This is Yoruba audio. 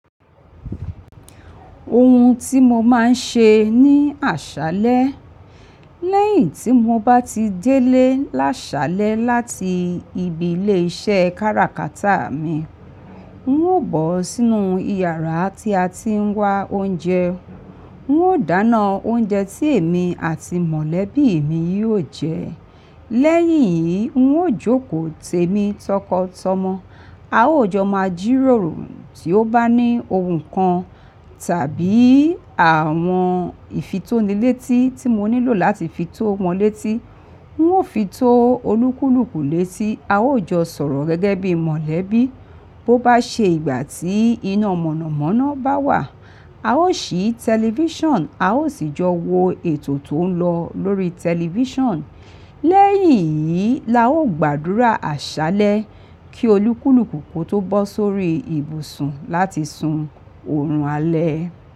Ohun tí mo máa ń ṣe ní àṣálẹ́, lẹ́yìn tí mo bá ti délé láṣálẹ́ láti ibi ilé iṣẹ́ kára kátà mi, ń ó bọ̀ sínú ìyàrá tí a ti ń wá oúnjẹ. Ń ó dáná oúnjẹ tí èmi àti mọ̀lẹ́bí mi yóò jẹẹ. Lẹ́yìn yìí, ń ó jókòó tèmi, tọkọ, tọmọ. A ó jọ máa jíròrò tí ó bá ní ohun kan tàbí àwọn ìfitónilétí tí mo nílò láti fi tó wọn létí. Ń ò fi tó olúkúlùkù létí, a ó jọ sọ̀rọ̀ gẹ́gẹ́ bí mọ̀lẹ́bí. Bo bá ṣe ìgbà tí iná mọ̀nàmọ́ná bá wà, a ó ṣí tẹlifíṣàn, a ó sì jọ wo ètò tó ń lọ lórí tẹlifíṣàn. Lẹ́yìn yìí la ó gbàdúrà àṣálẹ́ kí olúkúlùkù kó tó bọ́ sórí ibùsùn láti sun oorun alẹ́.